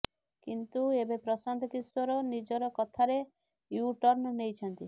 କିନ୍ତୁ ଏବେ ପ୍ରଶାନ୍ତ କିଶୋର ନିଜର କଥାରେ ୟୁ ଟର୍ଣ୍ଣ ନେଇଛନ୍ତି